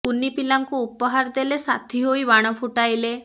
କୁନି ପିଲାଙ୍କୁ ଉପହାର ଦେଲେ ସାଥୀ ହୋଇ ବାଣ ଫୁଟାଇଲେ